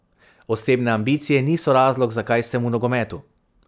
Osebne ambicije niso razlog, zakaj sem v nogometu.